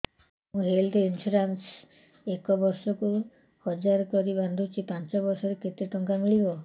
ମୁ health insurance ଏକ ବର୍ଷକୁ ହଜାର କରି ବାନ୍ଧୁଛି ପାଞ୍ଚ ବର୍ଷ ପରେ କେତେ ଟଙ୍କା ମିଳିବ